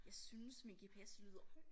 Jeg synes min gps lyder